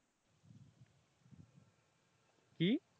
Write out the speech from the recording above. কি